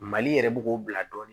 Mali yɛrɛ bɛ k'o bila dɔɔnin